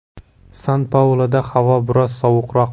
San-Pauluda havo biroz sovuqroq.